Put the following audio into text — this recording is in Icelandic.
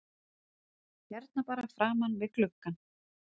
Hérna bara framan við gluggann?